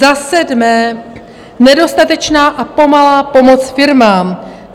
Za sedmé, nedostatečná a pomalá pomoc firmám.